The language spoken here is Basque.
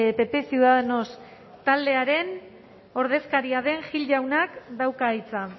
pp ciudadanos taldearen ordezkaria den gil jaunak dauka hitza